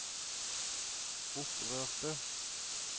opprørte